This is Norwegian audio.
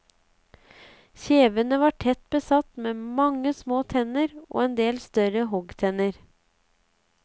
Kjevene var tett besatt med mange små tenner og en del større hoggtenner.